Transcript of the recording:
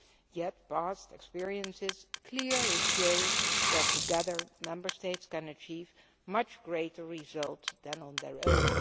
Yet past experiences clearly show that, together, Member States can achieve much greater results than on their own.